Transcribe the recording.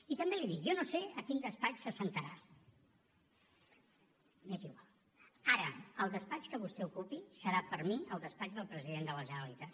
i també li dic jo no sé a quin despatx s’asseurà m’és igual ara el despatx que vostè ocupi serà per mi el despatx del president de la generalitat